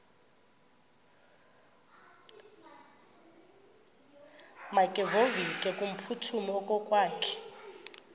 makevovike kumphuthumi okokwakhe